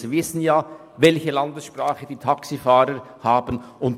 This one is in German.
Sie wissen ja, welche Landessprache die Taxifahrer sprechen;